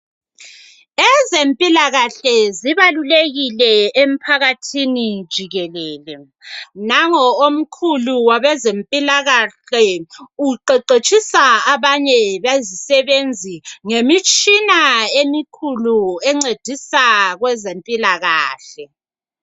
Ezempilakahle zibalulekile emphakathini jikelele. Nango omkhulu wabezempilakahle uqeqetshisa abanye bezisebenzi ngemitshina emikhulu encedisa kwezempilakahle.